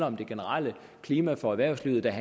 om det generelle klima for erhvervslivet og